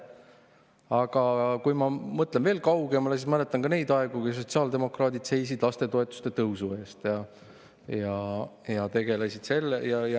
Aga kui ma mõtlen veel kaugemale, siis ma mäletan ka neid aegu, kui sotsiaaldemokraadid seisid lapsetoetuse tõusu eest.